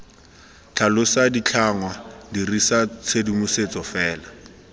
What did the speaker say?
tlhalosa ditlhangwa dirisa tshedimosetso fela